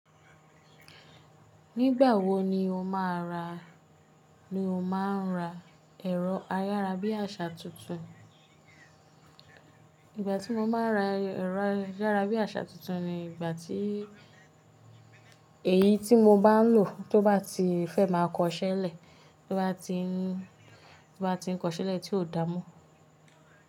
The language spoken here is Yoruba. Nígbà wo ni o máa ń ra, ni o máa ń ra ẹ̀rọ ayára bí àṣá tuntun? Ìgbà tí mo máa ń ra ẹ̀rọ ayára bí àṣá tuntun ni ìgbà tí èyí tí mo bá ń lò tó bá ti fẹ́ máa kọ iṣẹ́ lẹ̀, tó bá ti ń, tó bá ti ń kọ iṣẹ́ lẹ̀ tí ò dáa mọ́.